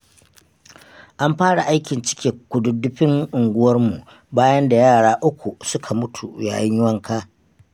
An fara aikin cike kududdufin unguwarmu bayan da yara uku suka mutu yayin wanka.